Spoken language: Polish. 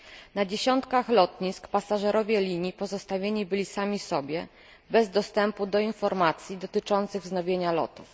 Na dziesiątkach lotnisk pasażerowie linii pozostawieni byli sami sobie, bez dostępu do informacji dotyczących wznowienia lotów.